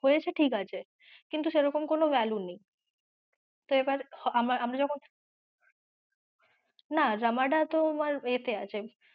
হয়েছে ঠিকাছে কিন্তু সেরকম কোনো value নেই তো এবার আমরা আমরা যখন না রামাডা তোমার এ তে আছে